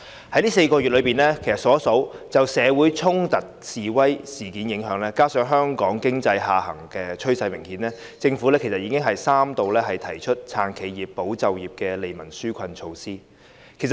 在這4個月以來，因應社會上衝突和示威事件的影響，加上香港經濟下行趨勢明顯，政府其實已經三度推出"撐企業、保就業"的利民紓困措施。